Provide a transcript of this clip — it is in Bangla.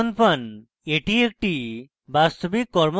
এটি একটি বাস্তবিক কর্মক্ষেত্র